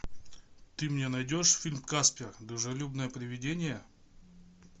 ты мне найдешь фильм каспер дружелюбное привидение